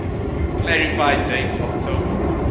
clarify date october